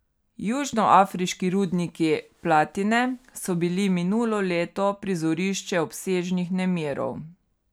Južnoafriški rudniki platine so bili minulo leto prizorišče obsežnih nemirov.